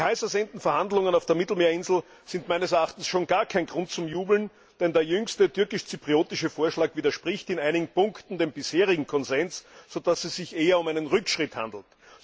Die heißersehnten Verhandlungen auf der Mittelmeerinsel sind meines Erachtens schon gar kein Grund zum Jubeln, denn der jüngste türkisch zypriotische Vorschlag widerspricht in einigen Punkten dem bisherigen Konsens, so dass es sich eher um einen Rückschritt handelt.